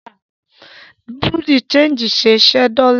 Bùrúdì ṣẹegì ń ṣẹ́ dọ́lá.